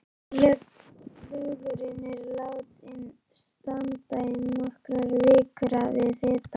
Lögurinn er látinn standa í nokkrar vikur við hita.